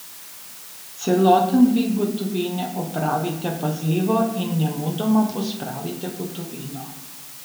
Celoten dvig gotovine opravite pazljivo in nemudoma pospravite gotovino.